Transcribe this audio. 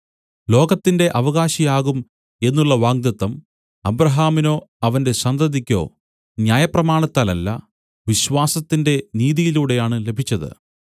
ലോകത്തിന്റെ അവകാശി ആകും എന്നുള്ള വാഗ്ദത്തം അബ്രാഹാമിനോ അവന്റെ സന്തതിയ്ക്കോ ന്യായപ്രമാണത്താലല്ല വിശ്വാസത്തിന്റെ നീതിയിലൂടെയാണ് ലഭിച്ചത്